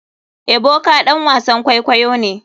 Ebuka ɗan wasan kwaikwayo ne.